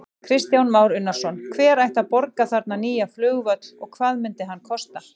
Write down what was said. Kristján Már Unnarsson: Hver ætti að borga þarna nýja flugvöll og hvað myndi hann kosta?